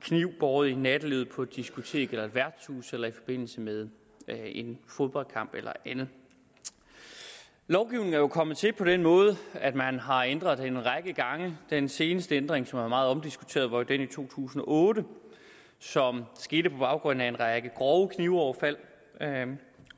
kniv båret i nattelivet på et diskotek eller et værtshus eller i forbindelse med en fodboldkamp eller andet lovgivningen er jo kommet til på den måde at man har ændret den en række gange den seneste ændring som er meget omdiskuteret var den i to tusind og otte som skete på baggrund af en række grove knivoverfald